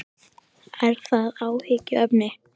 Er það áhyggjuefni?